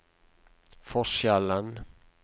forskjellen